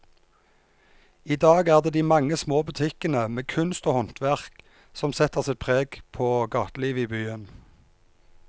I dag er det de mange små butikkene med kunst og håndverk som setter sitt preg på gatelivet i byen.